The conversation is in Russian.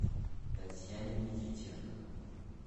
татьяне никитенко